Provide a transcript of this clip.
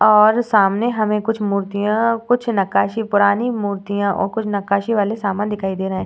और सामने हमें कुछ मुर्तियाँ कुछ नक्काशी पुरानी मुर्तियाँ और कुछ नक्काशी वाले सामान दिखाई दे रहे हैं।